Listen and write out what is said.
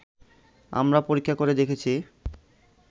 আমরা পরীক্ষা করে দেখেছি